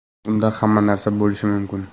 Unda hamma narsa bo‘lishi mumkin.